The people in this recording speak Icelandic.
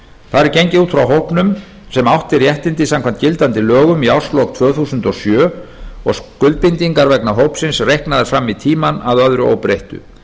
þar er gengið út frá hópnum sem átti réttindi samkvæmt gildandi lögum í árslok tvö þúsund og sjö og skuldbindingar vegna hópsins reiknaðar fram í tímann að öðru óbreyttu